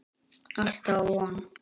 Alltaf von.